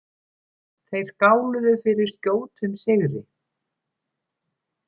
Þeir skáluðu fyrir skjótum sigri.